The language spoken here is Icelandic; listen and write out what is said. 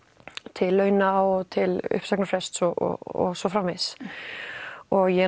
til launa og til uppsagnarfrests og svo framvegis og ég